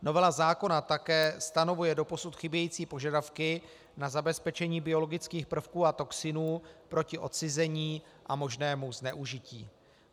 Novela zákona také stanovuje doposud chybějící požadavky na zabezpečení biologických prvků a toxinů proti odcizení a možnému zneužití.